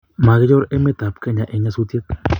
migichor emetab Kenya eng nyasusiet